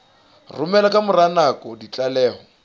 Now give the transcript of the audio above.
romela ka mora nako ditlaleho